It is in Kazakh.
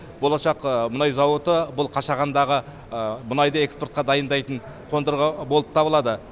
болашақ мұнай зауыты бұл қашағандағы мұнайды экспортқа дайындайтын қондырғы болып табылады